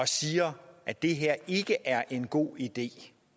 siger at det her ikke er en god idé